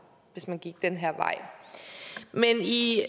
hvis man gik den her vej men i